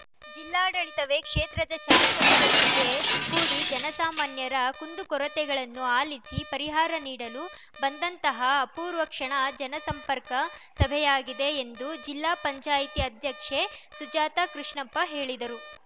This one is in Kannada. ಜಿಲ್ಲಾಡಳಿತವೇ ಕ್ಷೇತ್ರದ ಶಾಸಕರೊಂದಿಗೆ ಕೂಡಿ ಜನಸಾಮಾನ್ಯರ ಕುಂದುಕೊರತೆಗಳನ್ನು ಆಲಿಸಿ ಪರಿಹಾರ ನೀಡಲು ಬಂದಂತಹ ಅಪೂರ್ವ ಕ್ಷಣ ಜನಸಂಪರ್ಕ ಸಭೆಯಾಗಿದೆ ಎಂದು ಜಿಲ್ಲಾ ಪಂಚಾಯಿತಿ ಅಧ್ಯಕ್ಷೆ ಸುಜಾತ ಕೃಷ್ಣಪ್ಪ ಹೇಳಿದರು